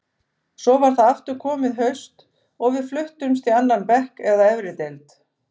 Svo var aftur komið haust og við fluttumst í annan bekk eða efri deild.